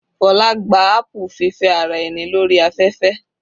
Fola gba apu fífẹ́ ara ẹni lórí afẹ́fẹ́.